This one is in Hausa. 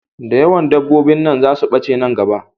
Da yawan dabobbin nan za su bace nan gaba